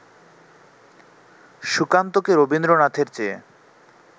সুকান্তকে রবীন্দ্রনাথের চেয়ে